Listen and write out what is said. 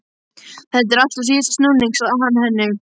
Þetta er allt á síðasta snúning sagði hann henni.